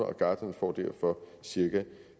og gartnerne får derfor cirka